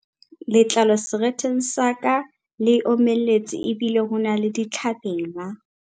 Letlalo seretheng sa ka le omeletse ebile ho na le ditlhabela.